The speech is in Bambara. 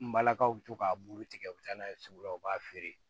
N balakaw bɛ to k'a bulu tigɛ u bɛ taa n'a ye sugu la u b'a feere